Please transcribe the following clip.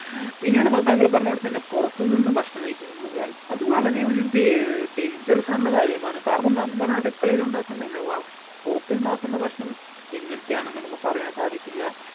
പിന്നീട് എന്താ താങ്കൾ പറഞ്ഞപോലെ തന്നെ പൊറത്ത് നിന്ന് ഭക്ഷണം കഴിക്കുന്ന് ന്നുള്ള കാര്യം അത് വളരെ ഒരു ദേ dangerous ആയിട്ടുള്ള കാര്യമാണ് കാരണം നമ്മടെ അടുക്കളയിൽ ഉണ്ടാക്കുന്നില്ലവ പൊറത്തുണ്ടാക്കുന്ന ഭക്ഷണം എങ്ങനത്തെ ആണെന്ന് നമ്മക്ക് പറയാൻ സാധിക്കില്ല